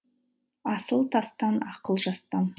асыл тастан ақыл жастан